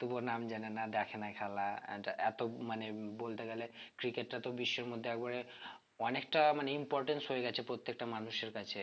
তবুও নাম জানে না দেখে না খেলা এত~ এতো মানে বলতে গেলে cricket টা তো বিশ্বের মধ্যে একেবারে অনেকটা মানে importance হয়ে গেছে প্রত্যেকটা মানুষের কাছে